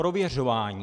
Prověřování!